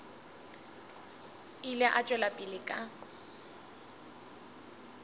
ile a tšwela pele ka